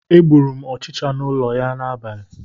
Egburu m ọchịcha n'ụlọ a n'abalị ụnyaahụ